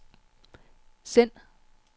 send